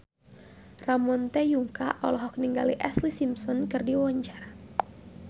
Ramon T. Yungka olohok ningali Ashlee Simpson keur diwawancara